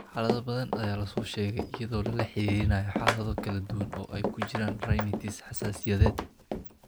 Xaalado badan ayaa la soo sheegay iyadoo lala xiriirinayo xaalado kala duwan oo ay ku jiraan rhinitis xasaasiyadeed.